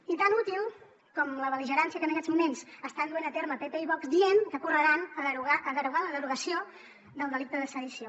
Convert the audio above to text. i tan útil com la bel·ligerància que en aquests moments estan duent a terme pp i vox dient que correran a derogar la derogació del delicte de sedició